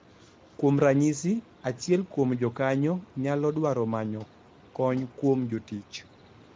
Kuom ranyisi, achiel kuom jokanyo nyalo dwaro manyo kony kuom jotich,